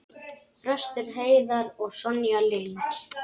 Þröstur Heiðar og Sonja Lind.